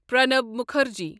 Pranab Mukherjee